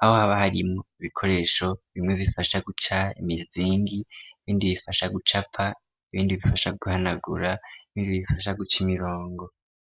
aho haba harimwo ibikoresho bimwe bifasha guca imizingi ibindi bifasha gucapa, ibindi bifasha guhanagura, ibindi bifasha guca imirongo.